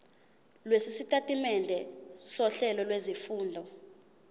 lwesitatimende sohlelo lwezifundo